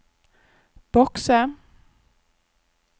bokse